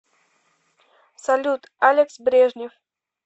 салют алекс брежнев